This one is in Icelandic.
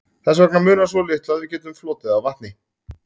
Þess vegna munar svo litlu að við getum flotið á vatni.